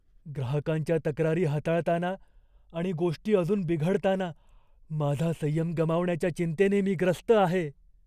ग्राहकांच्या तक्रारी हाताळताना आणि गोष्टी अजून बिघडताना माझा संयम गमावण्याच्या चिंतेने मी ग्रस्त आहे.